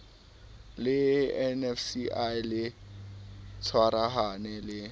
le nafci le tshwarahane le